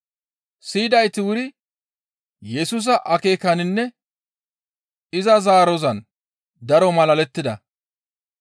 Siyidayti wuri Yesusa akeekaninne iza zaarozan daro malalettida.